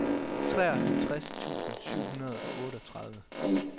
treoghalvtreds tusind syv hundrede og otteogtredive